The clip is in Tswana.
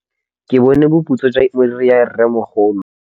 Ke bone boputswa jwa meriri ya rrêmogolo.